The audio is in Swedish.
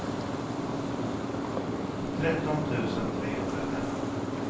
tretton tusen trehundrafem